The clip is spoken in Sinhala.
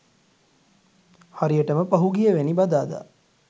හරියටම පසුගියවැනි බදාදා